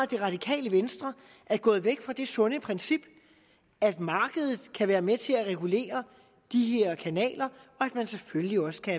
det radikale venstre er gået væk fra det sunde princip at markedet kan være med til at regulere de her kanaler og at man selvfølgelig også kan